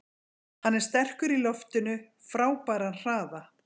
Hann er sterkur í loftinu, frábæran hraða.